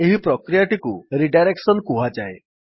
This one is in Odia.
ଏହି ପ୍ରକ୍ରିୟାଟିକୁ ରିଡାଇରେକସନ କୁହାଯାଏ